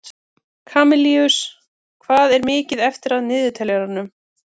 Kamilus, hvað er mikið eftir af niðurteljaranum?